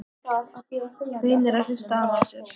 Reynir að hrista hana af sér.